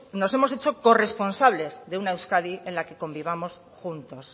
nos hemos hecho corresponsables de una euskadi en la que convivamos juntos